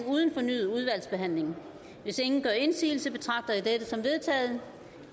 uden fornyet udvalgsbehandling og hvis ingen gør indsigelse betragter jeg dette som vedtaget